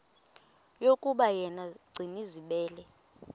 yokuba yena gcinizibele